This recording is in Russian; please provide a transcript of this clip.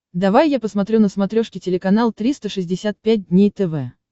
давай я посмотрю на смотрешке телеканал триста шестьдесят пять дней тв